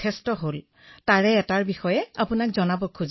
মোৰ এটা অভিজ্ঞতাৰ বিষয়ে আপোনাক কব বিচাৰিছো